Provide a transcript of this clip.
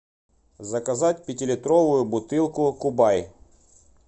заказать пятилитровую бутылку кубай